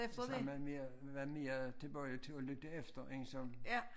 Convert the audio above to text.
Så man mere været mere tilbøjelig til at lytte efter én som